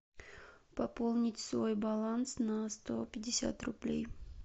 пополнить свой баланс на сто пятьдесят рублей